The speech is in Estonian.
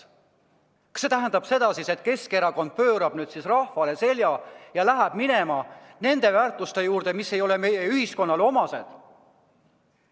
Kas see tähendab siis seda, et Keskerakond pöörab rahvale selja ja suundub nende väärtuste juurde, mis ei ole meie ühiskonnale omased?